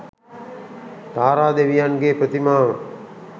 තාරා දෙවියන්ගේ ප්‍රතිමාව